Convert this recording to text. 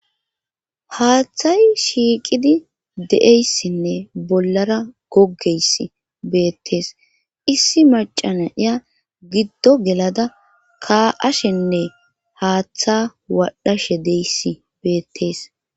haaththay shiiqidi de7eyssinne bollara goggeyss beettees issi macana iya giddo gelada ka7ashenne haaththa waadhashe deyssi beettees.